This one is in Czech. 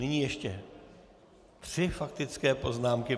Nyní ještě tři faktické poznámky.